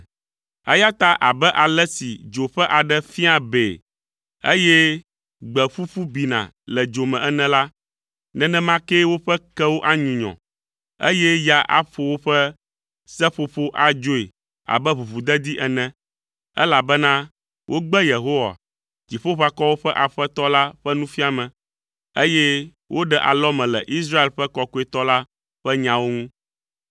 Eya ta abe ale si dzo ƒe aɖe fiaa bee, eye gbe ƒuƒu bina le dzo me ene la, nenema kee woƒe kewo anyunyɔ, eye ya aƒo woƒe seƒoƒowo adzoe abe ʋuʋudedi ene, elabena wogbe Yehowa, Dziƒoʋakɔwo ƒe Aƒetɔ la ƒe nufiame, eye woɖe alɔme le Israel ƒe Kɔkɔetɔ la ƒe nyawo ŋu,